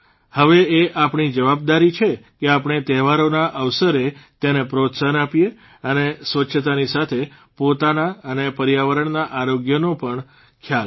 હવે એ આપણી જવાબદારી છે કે આપણે તહેવારોના અવસરે તેને પ્રોત્સાહન આપીએ અને સ્વચ્છતાની સાથે પોતાના અને પર્યાવરણના આરોગ્યનો પણ ખ્યાલ રાખીએ